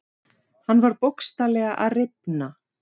Hann var bókstaflega að rifna.